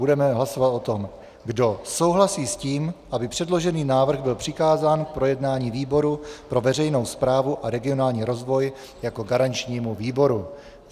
Budeme hlasovat o tom, kdo souhlasí s tím, aby předložený návrh byl přikázán k projednání výboru pro veřejnou správu a regionální rozvoj jako garančnímu výboru.